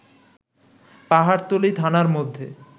পাহাড়তলী থানার মধ্যে